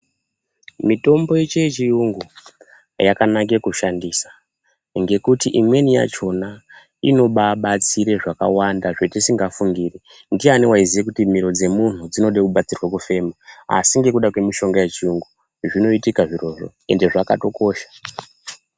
Mitombo yeshe yechiyungu yakanaka kushandisa. Ngekuti imweni yachona inobabatsira zvakawanda zvetisingafungiri. Ndiani waiziya kuti miro yemuntu inoda kubatsirwa kufema? Asi ngekuda kwemitombo yechiyungu zvinoitika zvirozvo ende zvakatokosha.